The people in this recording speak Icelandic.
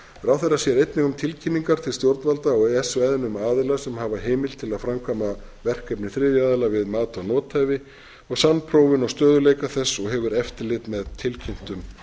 ráðherra sér einnig um tilkynningar til stjórnvalda á e e s svæðinu um aðila sem hafa heimild til að framkvæma verkefni þriðja aðila við mat á nothæfi og samprófun og stöðugleika þess og hefur eftirlit með tilkynntum